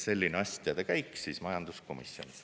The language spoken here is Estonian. Selline asjade käik majanduskomisjonis.